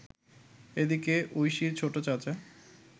এদিকে, ঐশীর ছোট চাচা